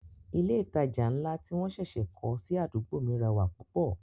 Ilé ìtajà ńlá tí wọ́n ṣẹ̀ṣẹ̀ kọ́ sí àdúgbò mi rẹwà púpọ̀